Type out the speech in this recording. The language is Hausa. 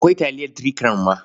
Akwai taliyar Three Crown ma.